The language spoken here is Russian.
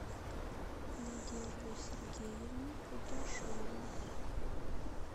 надежду сергеевну кудряшову